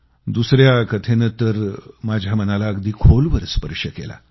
दुसऱ्या कथेनं तर माझ्या मनाला अगदी खोलवर स्पर्श केला